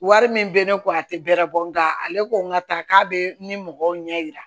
Wari min bɛ ne kun a tɛ bɛrɛ bɔ nka ale ko n ka ta k'a bɛ ni mɔgɔw ɲɛ yira